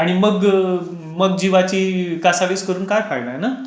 आणि मग मग जिवाची कासावीस करून काय फायदा ना.